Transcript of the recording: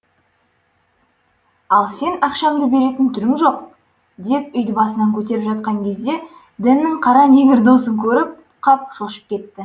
ал сен ақшамды беретін түрің жоқ деп үйді басына көтеріп жатқан кезде дэннің қара негр досын көріп қап шошып кетеді